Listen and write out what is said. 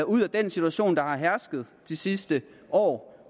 ud af den situation der har hersket de sidste år